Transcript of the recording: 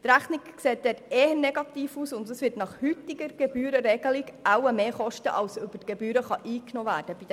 Dort sieht die Rechnung eher negativ aus, und nach heutiger Gebührenregelung wird es wohl mehr kosten, als bei den Inspektionen Gebühren eingenommen werden können.